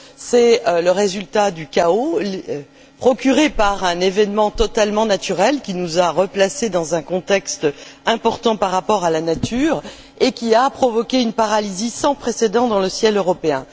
C'est le résultat du chaos semé par un événement totalement naturel qui nous a replacés dans un contexte important par rapport à la nature, et qui a provoqué une paralysie sans précédent dans le ciel européen.